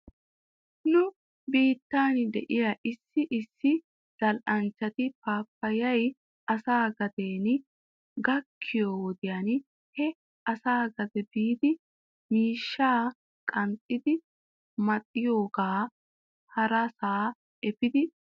Nu biittan de'iyaa issi issi zal"anchchati paapayay asaa gaden gakkiyoo wodiyan he asa gade biidi miishshaa qanxxidi maxiyooga harasaa efidi bayzoosona.